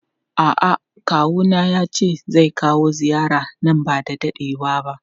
A'a kawuna yace zai kawo ziyara nan bada dadewa ba.